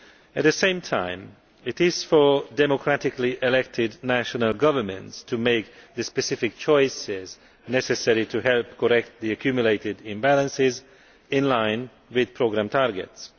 At the same time, it is for democratically elected national governments to make the specific choices necessary to help correct the accumulated imbalances, in line with programme targets.